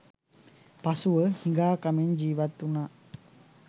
පසුව, හිඟා කමින් ජීවත් වුණා.